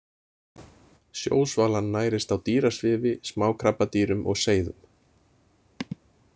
Sjósvalan nærist á dýrasvifi, smákrabbadýrum og seiðum.